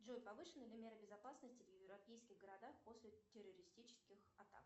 джой повышены ли меры безопасности в европейских городах после террористических атак